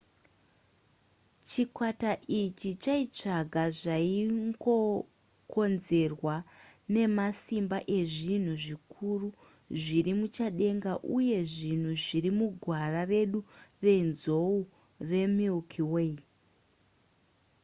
chikwata ichi chaitsvaga zvaingokonzerwa nemasimba ezvinhu zvikuru zviri muchadenga uye zvinhu zviri mugwara redu renzou remilky way